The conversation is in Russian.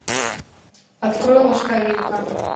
открой ложка вилка